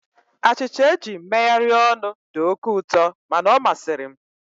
Achịcha eji megharịa ọnụ dị oke ụtọ mana ọ masịrị m.